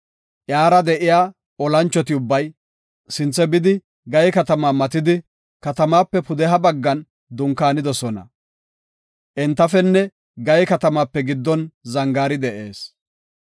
Iyara de7iya olanchoti ubbay, sinthe bidi Gaye katama matidi, katamaape pudeha baggan dunkaanidosona. Entafenne Gaye katamaape giddon zangaari de7ees.